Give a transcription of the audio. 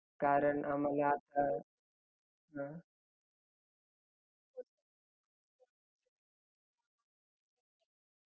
हो sir तेच मी सांगतेय हो ice हो sir ice module चे वेगवेगळे तुम्हाला pieces मिळतील तिकडे